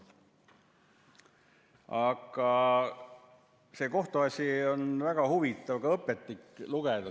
Aga see kohtuasi on väga huvitav, seda on ka õpetlik lugeda.